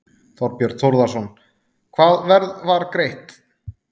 Þorbjörn Þórðarson: Hvaða verð var greitt?